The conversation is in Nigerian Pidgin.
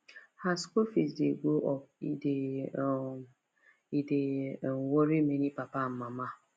as school fees dey go up e dey um e dey um worry many papa and mama